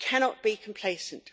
We cannot be complacent.